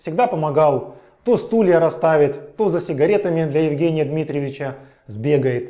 всегда помогал то стулья расставит то за сигаретами для евгения дмитриевича сбегает